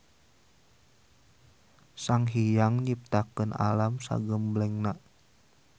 Sanghiyang nyiptakeun alam sagemblengna.